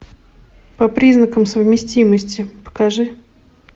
по признакам совместимости покажи